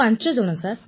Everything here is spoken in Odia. ପ୍ରଧାନମନ୍ତ୍ରୀ ଆଚ୍ଛା